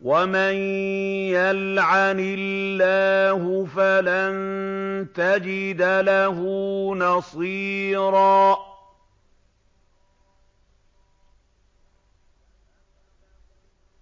وَمَن يَلْعَنِ اللَّهُ فَلَن تَجِدَ لَهُ نَصِيرًا